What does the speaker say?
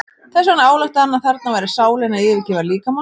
Þess vegna ályktaði hann að þarna væri sálin að yfirgefa líkamann.